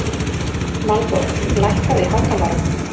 Valborg, lækkaðu í hátalaranum.